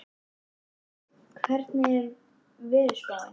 Sporði, hvernig er veðurspáin?